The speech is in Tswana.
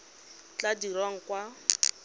e e tla dirwang kwa